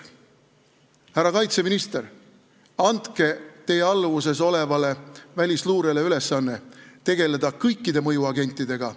Härra kaitseminister, andke enda alluvuses olevale välisluurele ülesanne tegeleda kõikide mõjuagentidega.